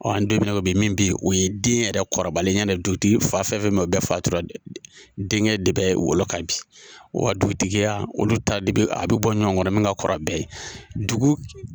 Ɔ an donna ko bi min bɛ yen o ye den yɛrɛ kɔrɔbalenya ye dutigi fa fɛn fɛn bɛ bɛɛ fatura dɛ denkɛ de bɛ wolo ka bin wa dugutigiya olu ta de bɛ a bɛ bɔ ɲɔgɔn kɔrɔ min ka kɔrɔ bɛɛ ye dugu